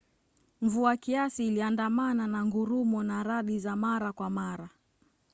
mvua kiasi iliandamana na ngurumo na radi za mara kwa mara